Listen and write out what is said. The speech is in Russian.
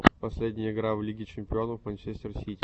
последняя игра в лиге чемпионов манчестер сити